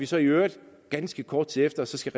så i øvrigt ganske kort tid efter skal